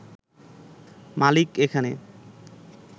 মালিক এখানে